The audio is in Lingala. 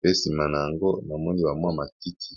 pe sima na yango na moni wa mwa matiti.